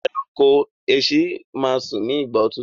ẹranko èsì má sùn ní igbà òtútù.